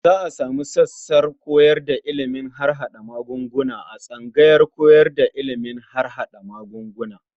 Za a sumu sassan koyar da ilimin harhaɗa magunguna a tsangayar koyar da ilimin harhaɗa magunguna.